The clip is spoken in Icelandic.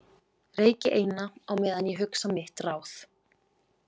Reyki eina á meðan ég hugsa mitt ráð.